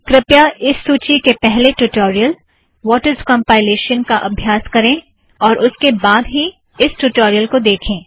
कृपया इस सूची के पहले ट्युटोरियल - वॉट इज़ कॉम्पाइलेश्न का अभ्यास करें और उसके बाद ही इस ट्युटोरियल को देखें